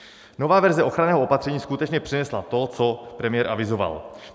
Nová verze ochranného opatření skutečně přinesla to, co premiér avizoval.